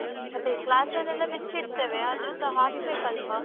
ಅದೇ class ಅಲ್ಲೆಲ್ಲಾ ಬಿಚ್ಚಿಡ್ತೇವೆ ಆದ್ರುಸ ಹಾಕ್ಬೇಕಲ್ವಾ